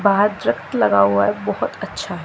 बाहर ट्रक लगा हुआ बहोत अच्छा--